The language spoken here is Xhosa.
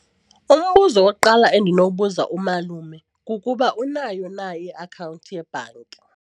Umbuzo wokuqala endinobuza umalume kukuba unayo na iakhawunti yebhanki.